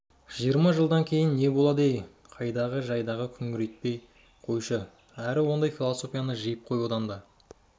жиырма жылдан кейін не болад ей қайдағы-жайдағыны күңірентпей қойшы әрі ондай философияны жиып қой онан да